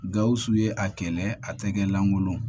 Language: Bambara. Gawusu ye a kɛlɛ a tɛgɛ lankolon